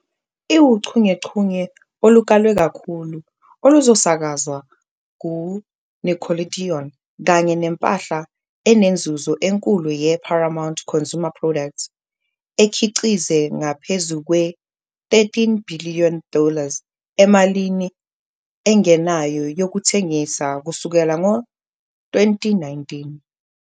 Iwuchungechunge olukalwe kakhulu oluzosakazwa ku-Nickelodeon kanye nempahla enenzuzo enkulu ye-Paramount Consumer Products, ekhiqize ngaphezu kwe- 13 bhiliyoni dollars emalini engenayo yokuthengisa kusukela ngo-2019.